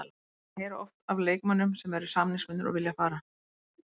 Maður heyrir oft af leikmönnum sem eru samningsbundnir og vilja fara.